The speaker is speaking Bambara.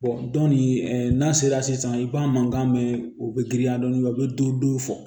dɔn nin n'a sera sisan i b'a mankan mɛn u be girinya dɔɔnin a bɛ dɔ don fɔ